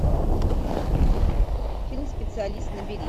фильм специалист набери